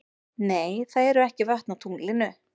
Nei, það eru ekki vötn á tunglinu.